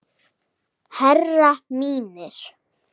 Herrar mínir.